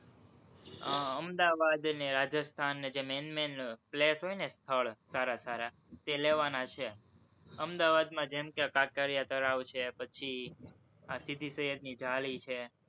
અહમદાવાદ અને રાજસ્થાન ને જે main main હોય ને, સ્થળ સારા સારા, તે લેવાના છે, અમદાવાદમાં જેમ કે કાંકરિયા તળાવ છે, પછી આ સિદીસૈયદની જાળી છે,